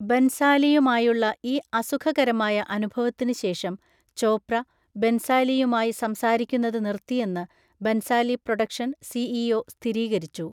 ബൻസാലിയുമായുള്ള ഈ അസുഖകരമായ അനുഭവത്തിന് ശേഷം ചോപ്ര, ബൻസാലിയുമായി സംസാരിക്കുന്നത് നിർത്തിയെന്ന് ബൻസാലി പ്രൊഡക്ഷൻ സിഇഒ സ്ഥിരീകരിച്ചു.